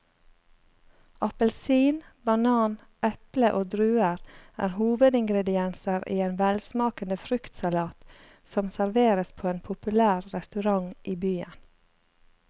Appelsin, banan, eple og druer er hovedingredienser i en velsmakende fruktsalat som serveres på en populær restaurant i byen.